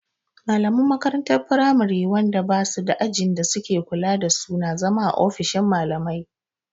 Malaman makarantar firamari wanda ba suda ajin da suke kula da su na zama a ofishin malamai